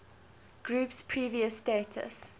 group's previous status